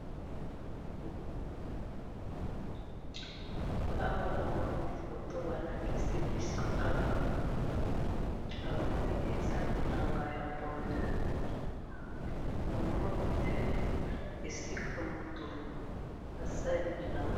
Awa namoni photo balakisi biso awa namoni eza bilanga ya pondu ,namoni nde esika mutu asali bilanga